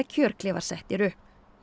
settir upp